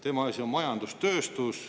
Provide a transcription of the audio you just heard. Tema asi on majandus, tööstus.